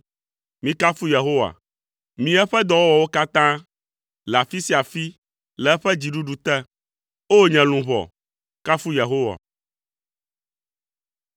Mikafu Yehowa, mi eƒe dɔwɔwɔwo katã, le afi sia afi, le eƒe dziɖuɖu te. O! Nye luʋɔ, kafu Yehowa.